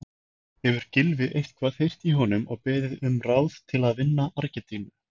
Hefur Gylfi eitthvað heyrt í honum og beðið um ráð til að vinna Argentínu?